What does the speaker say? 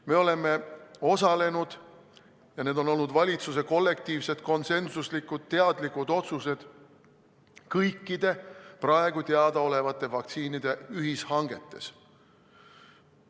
Me oleme osalenud – ja need on olnud valitsuse kollektiivsed, konsensuslikud, teadlikud otsused – kõikide praegu teadaolevate vaktsiinide ühishangetes.